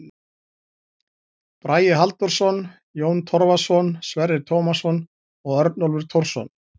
Bragi Halldórsson, Jón Torfason, Sverrir Tómasson og Örnólfur Thorsson.